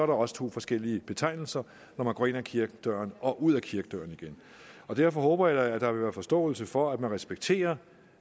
også to forskellige betegnelser når man går ind ad kirkedøren og ud ad kirkedøren igen derfor håber jeg da at der vil være forståelse for at man respekterer